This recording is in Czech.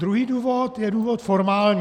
Druhý důvod je důvod formální.